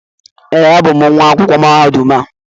ee, abụ m nwa akwụkwọ mahadum a